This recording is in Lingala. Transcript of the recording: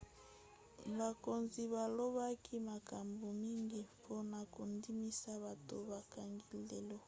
bakonzi balobaki makambo mingi mpona kondimisa bato bakangi lelo